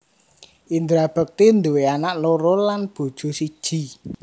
Indra Bekti duwe anak loro lan bojo siji